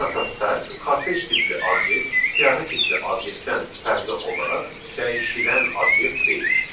Ən əsas fərq kortej tipli obyekt, siyahi tipli obyektdən fərqli olaraq dəyişilən obyekt deyil.